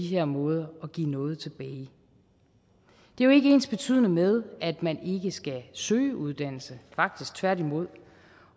her måde at give noget tilbage det er jo ikke ensbetydende med at man ikke skal søge uddannelse faktisk tværtimod